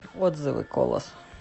отзывы колос